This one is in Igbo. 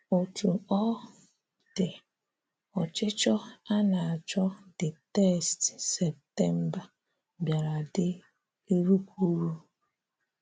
Ọ́tú ọ dị, ọ̀chị̀chọ̀ a na-àchọ́ the text Septèmbà bịárà dị ìrụ́kwúrú.